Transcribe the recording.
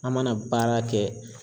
An mana baara kɛ